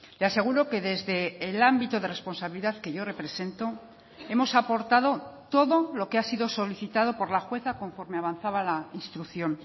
le aseguro que desde el ámbito de responsabilidad que yo represento hemos aportado todo lo que ha sido solicitado por la jueza conforme avanzaba la instrucción